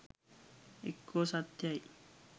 එක්කෝ සත්‍යයි